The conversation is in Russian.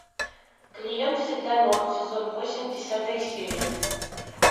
клиент всегда мертв сезон восемь десятая серия